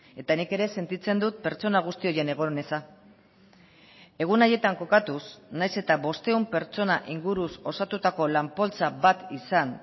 eta nik ere sentitzen dut pertsona guzti horien egon eza egun haietan kokatuz nahiz eta bostehun pertsona inguruz osatutako lan poltsa bat izan